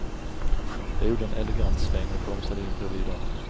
Jag gjorde en elegant sväng och bromsade in bredvid honom.